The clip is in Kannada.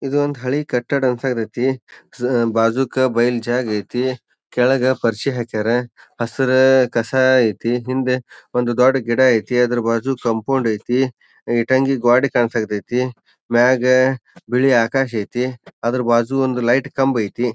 ಇದು ಒಂದ ಹಳಿ ಕಟ್ಟಡ ಅನ್ಸಾತೇತಿ ಸ್ ಬಾಜುಕ ಬೈಲ್ ಜಾಗ ಐತಿ ಕೆಳಗ ಪರಿಶಿ ಹಾಕ್ಯರ ಹಸಿರ ಕಸಾ ಐತಿ. ಹಿಂದ ಒಂದು ದೊಡ್ಡ ಗಿಡ ಐತಿ ಅದರ ಬಾಜು ಕಾಂಪೌಂಡ್ ಐತಿ ಇಟಂಗಿ ಗ್ವಾಡಿ ಕಾನ್ಸಾತೇತಿ ಮ್ಯಾಗ ಬಿಳಿ ಆಕಾಶ ಐತಿ ಅದರ ಬಾಜು ಒಂದು ಲೈಟ್ ಕಂಬ ಐತಿ.